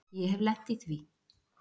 Ég hef lent í því.